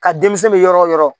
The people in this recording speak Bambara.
Ka denmisɛn be yɔrɔ o yɔrɔ